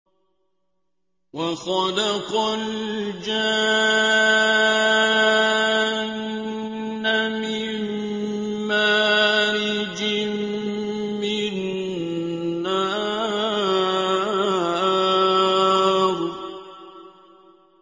وَخَلَقَ الْجَانَّ مِن مَّارِجٍ مِّن نَّارٍ